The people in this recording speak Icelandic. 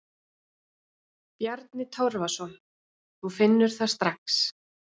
Bjarni Torfason: Þú finnur það strax?